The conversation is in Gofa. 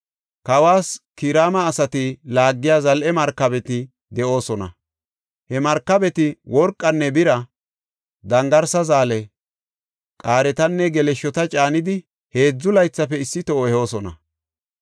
Kawas Kiraama asati laagiya zal7e markabeta de7oosona. He markabeti worqanne bira, dangarsa zaale, qaaretanne geleshshota caanidi heedzu laythafe issi toho ehoosona.